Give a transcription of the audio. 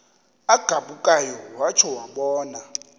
agabukayo watsho wabona